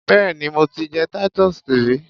Béèni mo ti jẹ Titus rí.